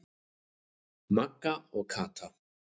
Magga og Kata.